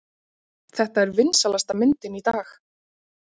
Þetta er vinsælasta myndin í dag!